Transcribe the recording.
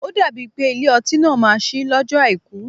Ó dàbí pé Ilé-ọtí náà má ṣí lọjọ Àìkú.